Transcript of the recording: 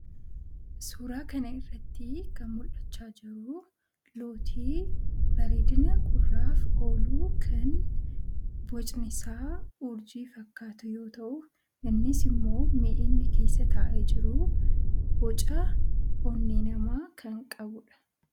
suuraa kana irratti kan mul'achaa jiru lootii bareedina gurraaf ooluu kan bocnisaa urjii fakkaatu yoo ta'u innis immoo miini keessa taa'e jiru boca onnee namaa kan qabudha.